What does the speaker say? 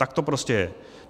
Tak to prostě je.